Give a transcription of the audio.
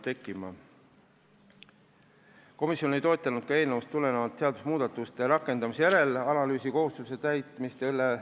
Komisjon ei toetanud ka eelnõust tulenevate seadusmuudatuste rakendumise järelanalüüsi kohustuse sätte lisamist.